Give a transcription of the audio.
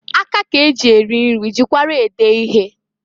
Aka k'eji eri nri jikwara ede ihe.